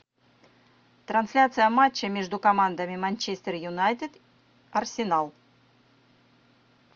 трансляция матча между командами манчестер юнайтед арсенал